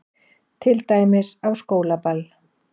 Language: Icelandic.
Til dæmis á skólaball.